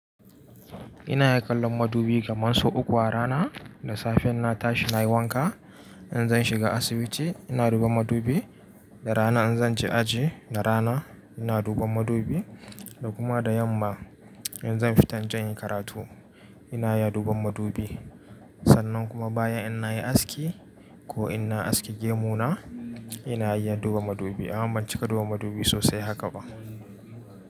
Ina iya kallon madubi kamar sau uku a rana. Da safe in na tashi na yi wanka, in zan shiga asibiti ina duba madubi, da rana in zan je aji da rana ina duba madubi, da kuma da yamma in zan fita jan yi karatu ina iya duban madubi. Sannan kuma baya in na yi aski ko in na aske gemu na ina iya duba madubi. Amma ban cika duba madubi sosai haka ba.